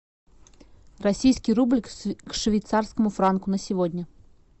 российский рубль к швейцарскому франку на сегодня